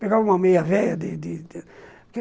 Pegava uma meia velha de de